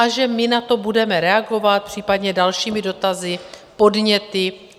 A že my na to budeme reagovat případně dalšími dotazy, podněty.